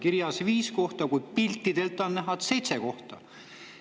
Kirjas on viis kohta, kuigi piltidelt on näha, et on seitse kohta.